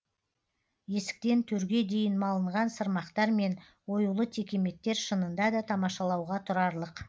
есіктен төрге дейін малынған сырмақтар мен оюлы текеметтер шынында да тамашалауға тұрарлық